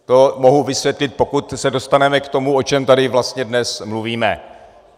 To mohu vysvětlit, pokud se dostaneme k tomu, o čem tady vlastně dnes mluvíme.